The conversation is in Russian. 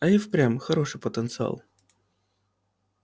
а и впрямь хороший потенциал